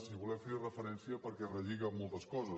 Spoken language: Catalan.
i volem fer hi referència perquè relliga amb moltes coses